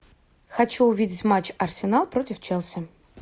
хочу увидеть матч арсенал против челси